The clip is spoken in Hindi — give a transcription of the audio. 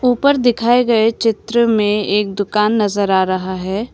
ऊपर दिखाए गए चित्र में एक दुकान नजर आ रहा है।